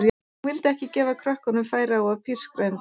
Hún vill ekki gefa krökkunum færi á að pískra um þau.